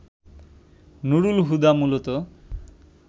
নুরুল হুদা মূলত